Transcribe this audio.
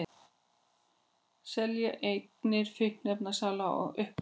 Selja eignir fíkniefnasala á uppboði